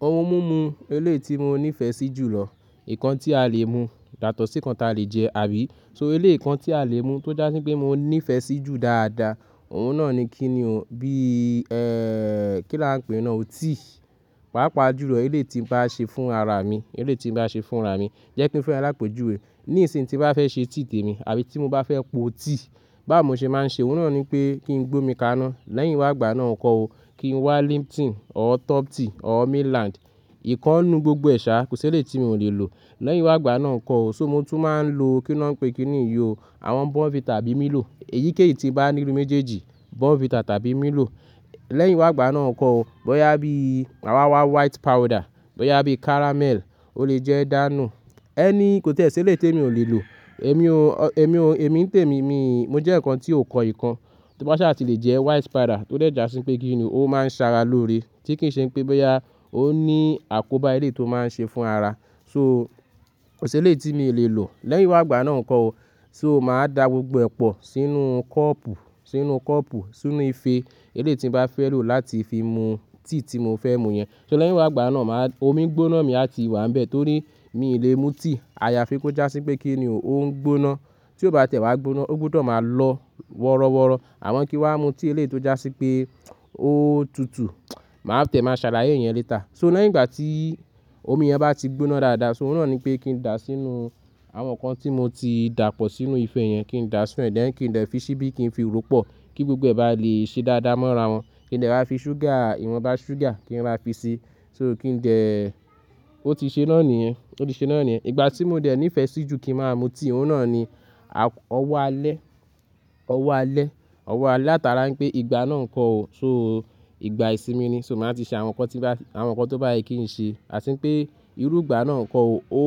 Ohun mú mu elé ti mo nífẹ̀ẹ́ sí jùlọ, ìkan tí a lè mu, yátọ̀ṣí ìkan tí a lè jẹ àbí, so elé ìkan tí a lè mu tó jásí pé mo nífẹ̀ẹ́ sí í jù dáadáa, òun náà ni kíni o, bí, kí lán pè náà, o ti. Pàápàá jùlọ elé tí ń bá ṣe fún ara mi, elé tí ń bá ṣe fún ara mi, jẹ́ kí n fun ẹ lápejù we. Nísìnyí tín bá fẹ́ ṣe tìi tèmi àbí tí mo bá fẹ́ po ti, báwo mo ṣe máa ń ṣe òun náà ni pé kí n gbómi kaná. Lẹ́yìn wá gbá a náà kó o, kí n wá Lipton ọ́ Topsy ọ́ Midland. Ìkan nu gbogbo ẹ̀ṣà, kò sí elé tí mi ò lè lò. Lẹ́yìn wá gbá a náà kó o, so mo tún máa ń lo kí ni wọ́n ń pè kíni yi o, àwọn Bonvita tàbí Milo. Èyíkéyìí tí bá nínu méjèèjì, Bonvita tàbí Milo. Lẹ́yìn wá gbá a náà kọ o, bóyá bí mà wáwá White Powder, bóyá bí Caramel, ó lè jẹ́ dànù. Ẹ́ní kò sí elé tí èmi ò lè lò. Èmi o, èmi o, èmi ń tèmi, mi-- mo jẹ́ ǹkan tí ó kọ ìkan, tó bá sà ti lè jẹ White Powder tó dẹ̀ já sí pé kíni o, ó máa ń ṣara lóore. Tí kì í ṣe pé bóyá ó ní àkóbá elé tó máa ń ṣe fún ara. So kò sí elé tí mi ò lè lò. Lẹ́yìn wá gbá a náà kọ o, so máa dà gbogbo ẹ̀ pọ̀ sínú kọ́ọ̀pù, sínú kọ́ọ̀pù, sínú ife elé tí ń bá fẹ́ lò láti fi mu tíì tí mo fẹ́ mu yẹn. So lẹ́yìn wá gbá a náà máa-- omi gbóná mi a ti wà níbẹ̀ torí mi ì lè mu tí. A ya fi kó já sí pé kíni o, ó ń gbóná. Tí ó bá tiẹ̀ wá gbóná, ó gbúdọ̀ máa lọ wọ́rọ́wọ́. Àwọn kín wá mu tíì elé tó já sí pé ó tutù, màá tiẹ̀ máa ṣàláyé yẹn létà. So lẹyín igbà tí omi yẹn bá ti gbóná dáadáa, so òun náà ni pé kí n dà á sínú àwọn nǹkan tí mo ti dà pọ̀ sínú ife yẹn, kí n dà á sínú ẹ̀, lẹ́yìn kí n dẹ̀ fi ṣíbí kí n fi ru pọ̀ kí gbogbo ẹ̀ bá lè ṣe dáadáa mọ́ra wọ́n. Kí n dẹ̀ raá fi ṣúgà, ìwọ̀n ba ṣúgà kí n rà fi sí. So kí ń dẹ ẹ́, ó ti ṣe náà níyẹn, ó ti ṣe náà níyẹn. Ìgbà tí mo dẹ̀ nífẹ̀ẹ́ sí jù kí n máa mu tíì, òun náà ni a-- ọwọ́ alẹ́, ọwọ́ alẹ́, ọwọ́ alẹ́. Látara pé ìgbà náà ń kọ o, so ìgbà ìsinmi ni, so màá ti ṣe àwọn nǹkan tí bá, àwọn nǹkan tó bá yẹ kí n ṣe. Atín pé irú ìgbà náà ń kọ o, ó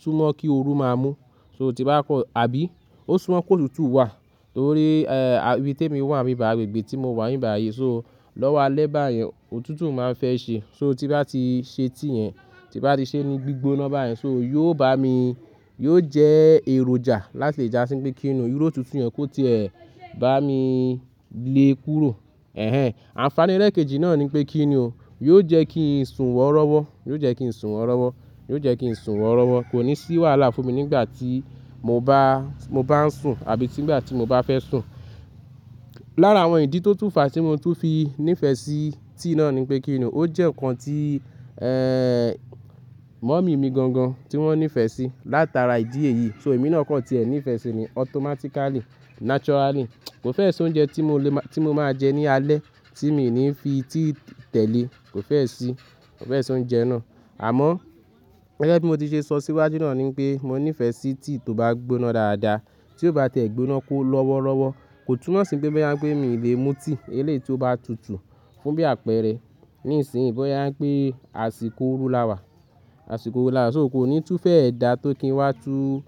súnmọ́ kí òru máa mú. So tí bá kọ-- àbí ó súnmọ́ kó tutù wà torí, ibí temi wà níbí bai, agbègbè tí mo wà níbi bai. So lọ́wọ́ alẹ́ báyẹn, òtútù máa ń fẹ́ ṣe. So tí n bá ti ṣe tí yẹn, tí n bá ti ṣe ní gbígbóná báyẹn, so yóò bá mi, yóò jẹ́ èròjà láti lè já sí pé kíni o, irú òtútù yẹn kó ti ẹ bá mi lé kúrò. Ẹ̀hẹn! Ànfání ẹlẹ̀ kejì náà ni pé kíni o, yóò jẹ́ kí n sùn wọ́rọ́wọ́, yóò jẹ́ kí n sùn wọ́rọ́wọ́, yóò jẹ́ kí n sùn wọ́rọ́wọ́. Kò ní sí wàhálà fún mi nígbà tí mo bá, mo bá ń sùn àbí nígbà tí mo bá fẹ́ sùn. Lára àwọn ìdí tó tún fà á tí mo tún fi nífẹ̀ẹ́ sí tíì náà ni pé kíni o, ó jẹ́ nǹkan tí, mọ́mì mi gan gan tí wọ́n nífẹ̀ẹ́ sí látara ìdí èyí. So èmi náà kàn tí ẹ ní ìfẹ́ ṣe ni automatically, naturally. Kò fẹ́ẹ̀ sí oúnjẹ tí mo lè má, tí mo máa ń jẹ ní alẹ́ tí mi ò ní fi tí tẹ̀lé. Kò fẹ́ẹ̀ sí, kò fẹ́ẹ̀ sí oúnjẹ náà. Àmọ́ gẹ́gẹ́ bí mo ti ṣe sọ síwájú náà ni pé mo nífẹ̀ẹ́ sí tíi tó bá gbóná dáadáa. Tí ó bá tẹ̀ gbóná kó lọ́wọ́rọ́wọ́, kò túnmọ̀ sí pé bóyá ń pé mi ì lè mu tí elé tí ó bá tutù fún bí àpẹẹrẹ. Nísìnyí bóyá ń pé àsìkò orú láwà, àsìkò orú láwà, so kò ní tún fẹ́ ẹ dà tó kí n wá tú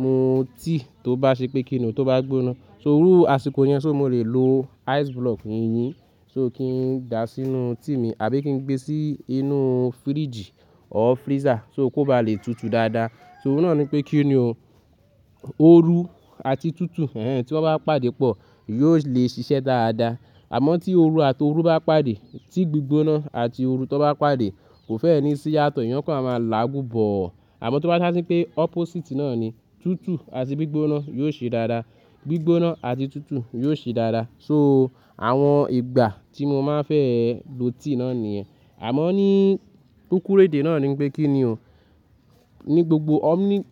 mu tí tó bá ṣe pé kíni o, tó bá gbóná. So iru àsìkò yẹn, so mo lè lo ice block yìnyín, so kí n dà á sínú tíi mi àbí kí n gbé sí inú fíríjì ọ́ freezer so kó bá lè tutù dáadáa. So òun náà ni pé kíni o, òru àti tútù, ẹ̀hẹn tí wọ́n bá pàdé pọ̀ yóò lè ṣiṣẹ́ dáadáa. Àmọ́ tí òru àti òru bá pàdé, tíì gbígbóná àti òru tí wọ́n bá pàdé, kò fẹ́ ẹ ní sí yàtọ̀, ìyán kọ́ a máa làágù bọ̀ ọ́. Àmọ́ tó bá jásí pé opposite náà ni, tútù àti gbígbóná yóò ṣe dáadáa. Gbígbóná àti tútù yóò ṣe dáadáa. So àwọn ìgbà tí mo máa ń fẹ́ lò tíì náà níyẹn. Àmọ́ ní kúkúru éde náà ni pé kíni o, ní gbogbo omni--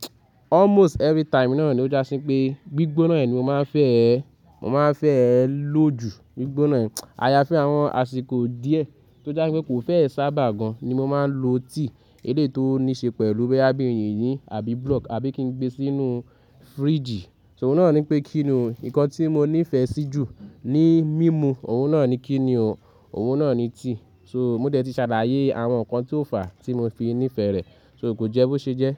almost every time náà ni ó jásí pé gbígbóná ẹ ni mo máa ń fẹ́ ẹ, mo máa ń fẹ́ ẹ lò jù, gbígbóná ẹ. A ya fẹ́ àwọn àsìkò díẹ̀ tó já sí pé kò fẹ́ ẹ sábà gan ni mo máa ń lo tí elé tó níí ṣe pẹ̀lú bẹ́ bí yìnyín àbí block àbí kí n gbé sínú fíríjì. So òun náà ni pé kíni o, ǹkan tí mo nífẹ̀ẹ́ sí jù ni mímu, òun náà ni kíni o, òun náà ni tíì. So mo dẹ̀ ti ṣàdáyé àwọn nǹkan tí ó fà á tí mo fi nífẹ̀ẹ́ rẹ̀, so kò jẹ́ bó ṣe jẹ́.